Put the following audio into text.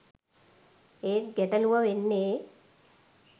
ඒත් ගැටලූව වෙන්නේ